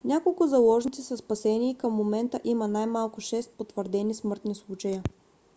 няколко заложници са спасени и към момента има най-малко шест потвърдени смъртни случая